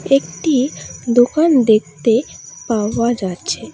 একটি দোকান দেখতে পাওয়া যাচ্ছে।